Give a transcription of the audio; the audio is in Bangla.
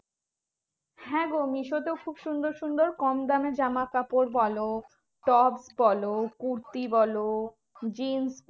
হ্যাঁ গো মিশোতেও খুব সুন্দর সুন্দর কম দামের জামাকাপড় বলো, tops বলো, কুর্তি বলো, jeans